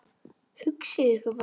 Hugsið ykkur bara!